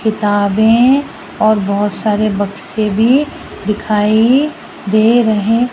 किताबें और बहोत सारे बक्से भी दिखाई दे रहे।